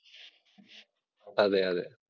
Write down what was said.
അതെയതെ.